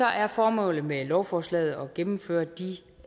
er formålet med lovforslaget at gennemføre de